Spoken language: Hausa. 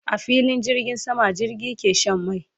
A filin jirgin sama jirgi ke Shan mai